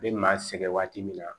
I bɛ maa sɛgɛn waati min na